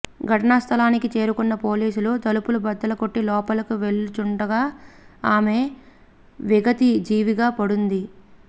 ఘటనా స్థలానికి చేరుకున్న పోలీసులు తలుపులు బద్దలగొట్టి లోపలికి వెళ్లిచూడగా ఆమె విగత జీవిగా పడివుంది